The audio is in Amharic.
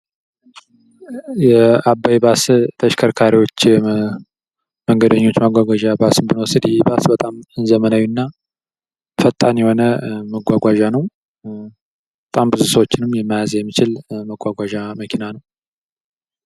የአባይ ባስ ተሽከርካሪዎች መንገደኞች ማጕጕዣን ባስ ብንወስድ ይህ ባስ በጣም ዘመናዊ እና ፈጣን የሆነ ማጕጕዣ ነው:: በጣም ብዙ ሰዎችንም መያዝ የሚችል ማጕጕዣ መኪና ነው::